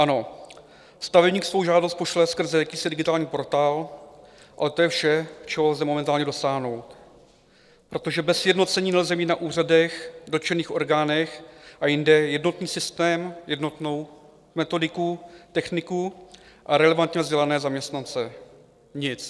Ano, stavebník svou žádost pošle skrze jakýsi digitální portál, ale to je vše, čeho lze momentálně dosáhnout, protože bez sjednocení nelze mít na úřadech, dotčených orgánech a jinde jednotný systém, jednotnou metodiku, techniku a relevantně vzdělané zaměstnance, nic.